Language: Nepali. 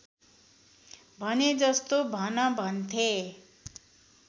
भनेजस्तो भन भन्थे